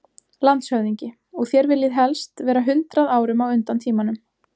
LANDSHÖFÐINGI: Og þér viljið helst vera hundrað árum á undan tímanum.